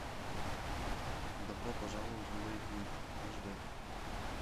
добро пожаловать в лэйквью аш дэ